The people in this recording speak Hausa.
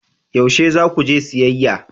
Yaushe za ku je siyayya?